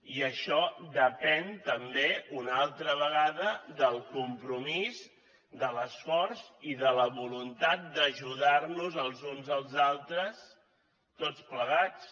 i això depèn també una altra vegada del compromís de l’esforç i de la voluntat d’ajudar nos els uns als altres tots plegats